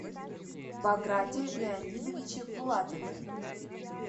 баграте леонидовиче булатове